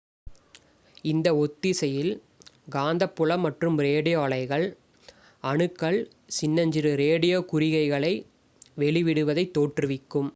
இந்த ஒத்திசையில் காந்தப் புலம் மற்றும் ரேடியோ அலைகள் அணுக்கள் சின்னஞ்சிறு ரேடியோ குறிகைகளை வெளிவிடுவதைத் தோற்றுவிக்கும்